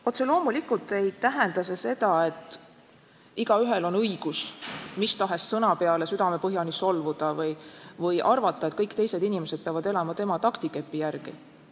Otse loomulikult ei tähenda see seda, et igaühel on õigus mis tahes sõna peale südamepõhjani solvuda või arvata, et kõik teised inimesed peavad elama tema taktikepi järgi.